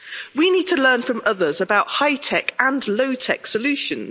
We need to learn from others about high tech and low tech solutions.